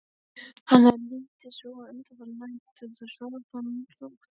Hann hafði lítið sofið undanfarnar nætur, nú svaf hann rótt.